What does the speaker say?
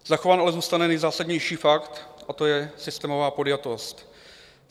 Zachován ale zůstane nejzásadnější fakt, a to je systémová podjatost.